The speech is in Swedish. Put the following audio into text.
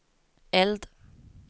eld